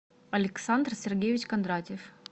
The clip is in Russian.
александр сергеевич кондратьев